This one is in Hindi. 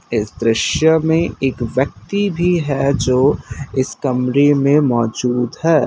इस दृश्य में एक व्यक्ति भी है जो इस कमरे में मौजूद है।